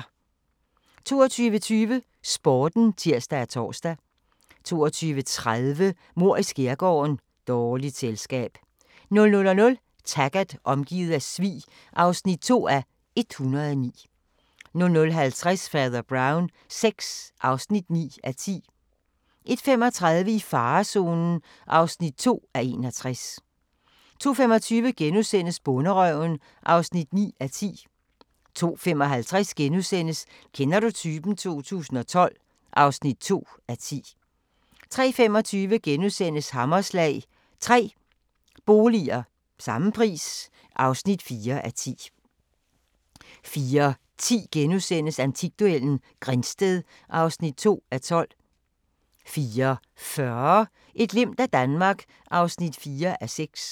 22:20: Sporten (tir-tor) 22:30: Mord i skærgården: Dårligt selskab 00:00: Taggart: Omgivet af svig (2:109) 00:50: Fader Brown VI (9:10) 01:35: I farezonen (2:61) 02:25: Bonderøven (9:10)* 02:55: Kender du typen? 2012 (2:10)* 03:25: Hammerslag – 3 boliger – samme pris (4:10)* 04:10: Antikduellen – Grindsted (2:12)* 04:40: Et glimt af Danmark (4:6)